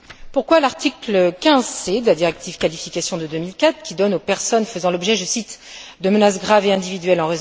Pourquoi l'article 15, point c, de la directive qualification de 2004, qui donne aux personnes faisant l'objet de, je cite, menaces graves et individuelles